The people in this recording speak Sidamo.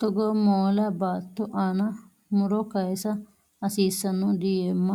Togoo moola baatto aana muro kayiisa hasiissano diyeemma